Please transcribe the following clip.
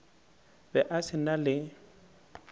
be a se na le